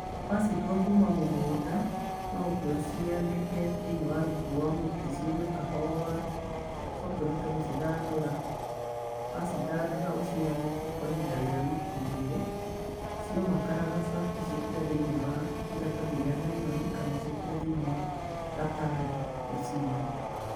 wacituwa kuuma munguda nuu ukie ucianike thiine wa rungu rwa muti cii umee kahora ucoke uhote ngucithandura wa cithandura ucianike kwa ihinda ria wiki iigirii ciomaa karangaca uciikiree thiinie wa iratathi ria naironi kana uciekeri thiinie wa gatagi uciigie